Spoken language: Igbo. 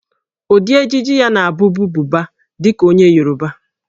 Ụdị ejiji ya na-abụbu Buba dị ka onye Yoruba